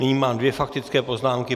Nyní mám dvě faktické poznámky.